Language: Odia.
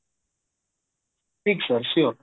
sir sure